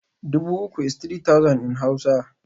Dubu uku is three thousand in Hausa